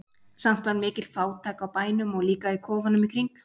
Samt var mikil fátækt á bænum og líka í kofunum í kring.